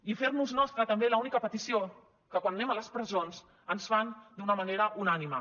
i fer nos nostra també l’única petició que quan anem a les presons ens fan d’una manera unànime